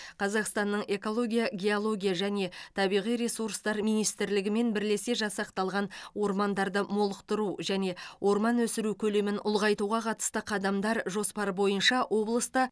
қазақстанның экология геология және табиғи ресурстар министрлігімен бірлесе жасақталған ормандарды молықтыру және орман өсіру көлемін ұлғайтуға қатысты қадамдар жоспар бойынша облыста